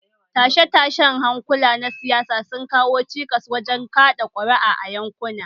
Tashe-tashen hankula na siyasa sun kawo cikas wajen kaɗa ƙuri'a a yankuna